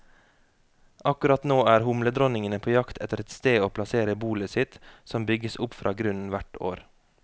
Akkurat nå er humledronningene på jakt etter et sted å plassere bolet sitt, som bygges opp fra grunnen hvert år.